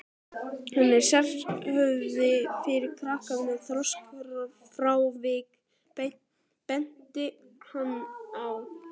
Hann er sérhæfður fyrir krakka með þroskafrávik, benti hann á.